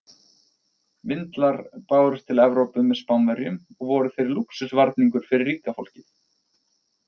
Vindlar bárust til Evrópu með Spánverjum og voru þeir lúxusvarningur fyrir ríka fólkið.